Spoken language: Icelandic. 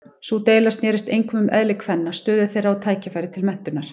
Sú deila snerist einkum um eðli kvenna, stöðu þeirra og tækifæri til menntunar.